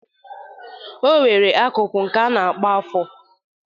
O nwere akụkụ nke a na-akpọ afọr.